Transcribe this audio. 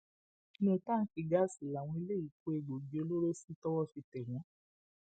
inú táǹkì gáàsì làwọn eléyìí kó egbòogi olóró sí tọwọ fi tẹ wọn